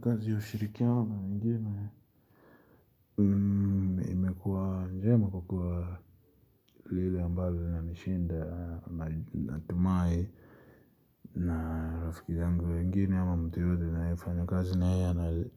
Kazi ya ushirikia wama mingine, imekuwa njema kukua lile ambayo na nishinda natumai. Na rafiki zangu wengine ama mtu yudu naifanyo kazi na hiyo